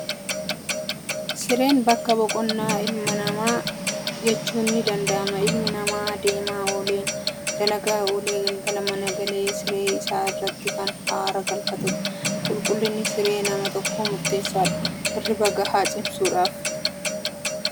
Sireen bakka boqonnaa ilma namaati jechuun ni danda'ama. Ilmi namaa deemaa ooleen, dalagaa oolee galgala mana galee siree isaa irratti kan haara galfatu. Qulqulliinni siree nama tokko murteessaadha hirriba gahaa ciisuudhaaf.